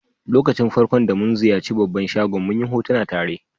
Lokacin farko'n da mun ziyace babban shagon, mun yi hotuna tare.